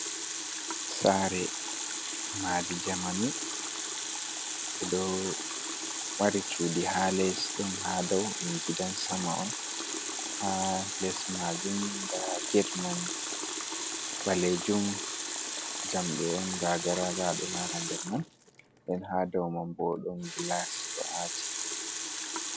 Sare madi jamanu ɗo mari cudi ha les ɗon ha dau ɗum gidan sama on ha les majum nda get man ɓalejum jamɗe on gagaragado ha nder man nden ha dou man bo ɗon gilas ɗo aati.